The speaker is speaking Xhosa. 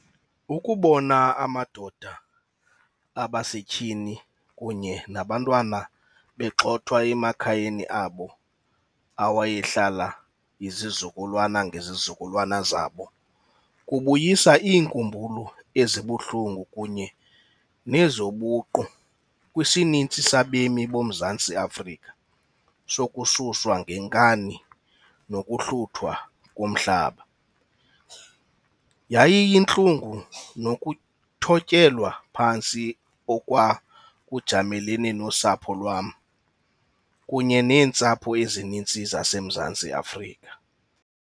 Ukubona amadoda, abasetyhini kunye nabantwana begxothwa emakhayeni abo awayehlala izizukulwana ngezizukulwana zabo kubuyisa iinkumbulo ezibuhlungu kunye nezobuqu kwisininzi sabemi boMzantsi Afrika sokususwa ngenkani nokuhluthwa komhlaba. Yayiyintlungu nokuthotyelwa phantsi okwa kujamelene nosapho lwam, kunye neentsapho ezininzi zaseMzantsi Afrika.